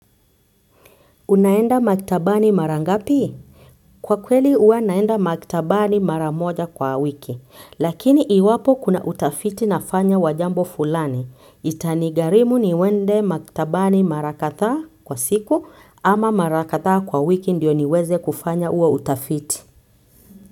Unaenda maktabani mara ngapi? Kwa kweli huwa naenda maktabani mara moja kwa wiki lakini iwapo kuna utafiti nafanya wa jambo fulani. Itanigharimu niende maktabani mara kadha kwa siku ama mara kadha kwa wiki ndio niweze kufanya huo utafiti.